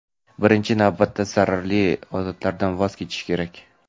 Birinchi navbatda zararli odatlardan voz kechish kerak.